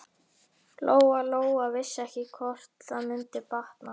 Lóa Lóa vissi ekki hvort það mundi batna.